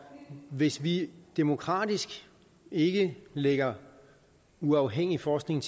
hvis vi demokratisk ikke lægger uafhængig forskning